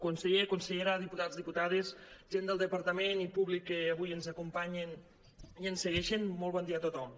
conseller consellera diputats diputades gent del de·partament i públic que avui ens acompanyen i ens segueixen molt bon dia a tothom